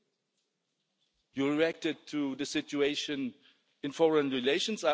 You have reacted to the situation in foreign relations